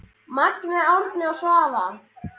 Magnea, Árni og Svava.